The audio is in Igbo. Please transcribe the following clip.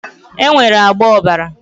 Enwere agba ọ̀bàrà